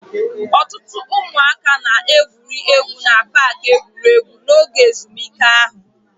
Ọtụtụ ụmụaka na-egwuri egwu na paaki egwuregwu n'oge ezumike ha.